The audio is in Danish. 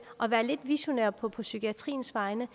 at være lidt visionær på psykiatriens vegne